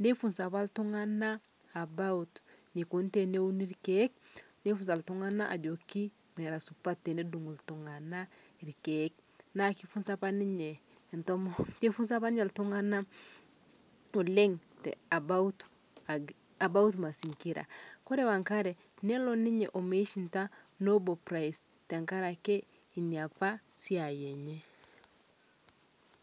neifunza apa ltung'ana about neikoni teneuni lkeek neifunza ltng'ana ajokii mera supat tenedung' ltung'ana lkeek naa keifunza apaa ninye, keifunza apaa ninye ltung'ana oleng' about mazingira, Kore wanagre neloo ninyee meishinda Nobal Prize tankarakee inia apa siai enye.